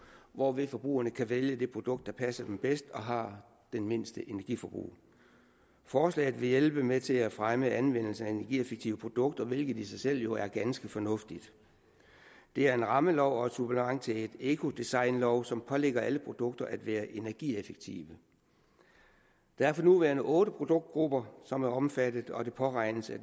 hvorved forbrugerne kan vælge det produkt der passer dem bedst og har det mindste energiforbrug forslaget vil hjælpe med til at fremme anvendelse af energieffektive produkter hvilket i sig selv jo er ganske fornuftigt det er en rammelov og et supplement til en ecodesignlov som pålægger alle produkter at være energieffektive der er for nuværende otte produktgrupper som er omfattet og det påregnes at